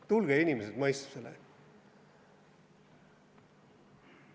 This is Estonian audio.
Tulge, inimesed, mõistusele!